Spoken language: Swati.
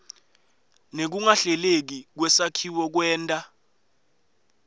nekungahleleki kwesakhiwo kwenta